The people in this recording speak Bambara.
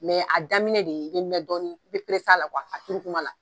a daminɛ de i be mɛn dɔɔni, i be a la a turu tuma la.